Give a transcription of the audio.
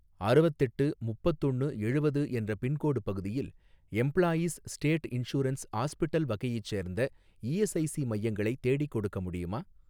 அறுவத்தெட்டு முப்பத்தொன்னு எழுவது என்ற பின்கோடு பகுதியில் எம்ப்ளாயீஸ் ஸ்டேட் இன்சூரன்ஸ் ஹாஸ்பிட்டல் வகையைச் சேர்ந்த இஎஸ்ஐஸி மையங்களை தேடிக்கொடுக்க முடியுமா?